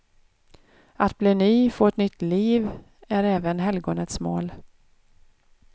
Att bli ny, få ett nytt liv, är även helgonets mål.